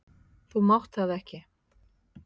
Þú mátt það ekki!